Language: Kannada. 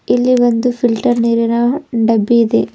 ಇಲ್ಲಿ ಒಂದು ಫಿಲ್ಟರ್ ನೀರಿನ ಡಬ್ಬಿ ಇದೆ.